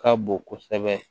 Ka bon kosɛbɛ